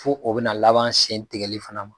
Fo o bɛna laban sen tigɛli fana ma.